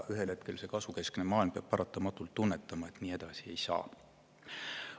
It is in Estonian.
Ühel hetkel peab see kasvukeskne maailm paratamatult tunnetama, et nii edasi ei saa.